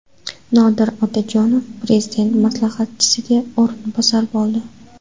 Nodir Otajonov Prezident maslahatchisiga o‘rinbosar bo‘ldi.